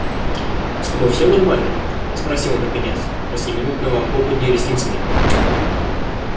с тобой все нормально спросил наконец после минутного хлопанья ресницами